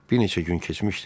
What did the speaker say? Bir neçə gün keçmişdi.